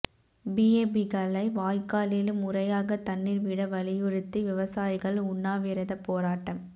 PAP கிளை வாய்க்காலில் முறையாக தண்ணீர் விட வலியுறுத்தி விவசாயிகள் உண்ணாவிரதப் போராட்டம்